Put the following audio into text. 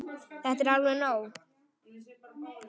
Þetta er alveg nóg!